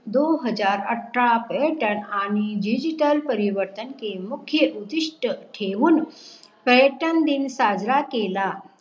दो हजार अठरा पर्यटक आणि DIGITAL परिवर्तन के मुख्य उद्दिष्ट ठेवकी पर्यटन दिन साजरा केला